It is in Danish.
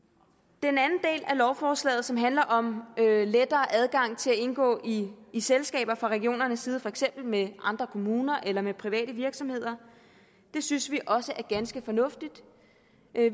den anden del af lovforslaget som handler om lettere adgang til at indgå i i selskaber fra regionernes side for eksempel med andre kommuner eller med private virksomheder synes vi også er ganske fornuftig